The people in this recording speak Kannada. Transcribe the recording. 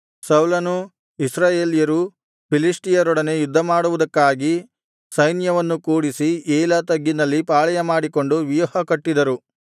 ಸೌಲನೂ ಇಸ್ರಾಯೇಲ್ಯರೂ ಫಿಲಿಷ್ಟಿಯರೊಡನೆ ಯುದ್ಧಮಾಡುವುದಕ್ಕಾಗಿ ಸೈನ್ಯವನ್ನು ಕೂಡಿಸಿ ಏಲಾ ತಗ್ಗಿನಲ್ಲಿ ಪಾಳೆಯಮಾಡಿಕೊಂಡು ವ್ಯೂಹಕಟ್ಟಿದರು